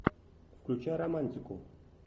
включай романтику